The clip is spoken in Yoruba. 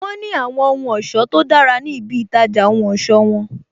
Wọn ní àwọn ohun ọ̀sọ́ tó dára ní ibi itaja ohun ọ̀sọ́ won